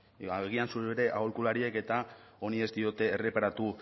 agian zure aholkulariek eta honi ez diote erreparatu